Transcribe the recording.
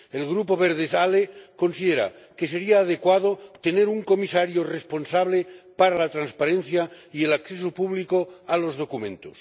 El Grupo Verts ALE considera que sería adecuado tener un comisario responsable para la transparencia y el acceso público a los documentos.